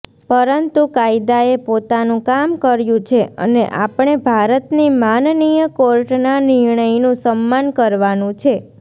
પરંતુ કાયદાએ પોતાનું કામ કર્યું છે અને આપણે ભારતની માનનીય કોર્ટના નિર્ણયનું સમ્માન કરવાનું છે